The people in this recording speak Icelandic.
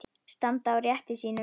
Standa á rétti sínum?